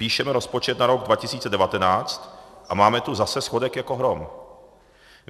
Píšeme rozpočet na rok 2019 a máme tu zase schodek jako hrom.